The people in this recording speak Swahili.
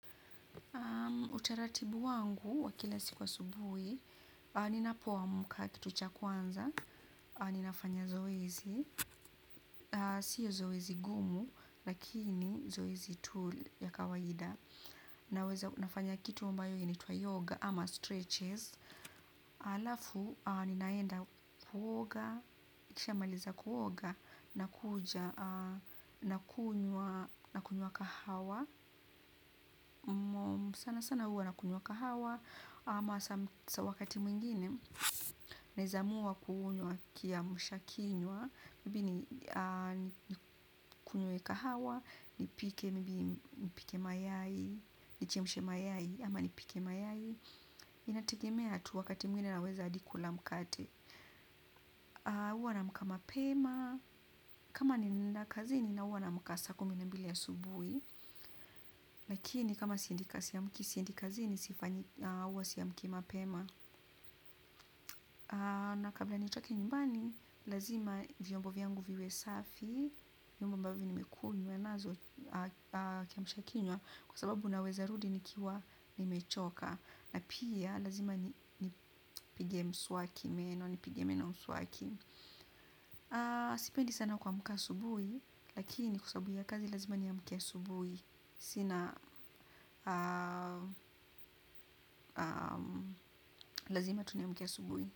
Utaratibu wangu wa kila siku asubuhi. Ninapo amka kitu cha kwanza ninafanya zoezi. Sio zoezi gumu. Lakini zoezi tool ya kawaida. Naweza nafanya kitu ambayo inaitwa yoga ama stretches alafu ninaenda kuoga kisha nikimaliza kuoga nakuja nakunywa kahawa sana sana huwa na kunywa kahawa ama wakati mwingine. Naeza amua kuunywa kiamshakinywa. Mbini kunywe kahawa. Nipike mbini nipike mayai. Nichemshe mayai ama nipike mayai. Inategemea tu wakati mwingine naweza hadi kula mkate. Huwa naamka mapema. Kama ninaenda kazini na huwa naamka saa kumi na mbili asubuhi. Lakini kama siendi kazini ya mkisi. Siendi kazini sifanyi huwa si amki mapema. Na kabla nitoke nyumbani, lazima vyombo yangu viwe safi. Vyombo ambavyo nimekunywa nazo kiamshakinywa kwa sababu naweza rudi nikiwa nimechoka. Na pia lazima nipige meno mswaki. Sipendi sana kuamka asubuhi, lakini kwa sababu ya kazi lazima ni amke asubuhi. Sina lazima tu niamke asubuhi.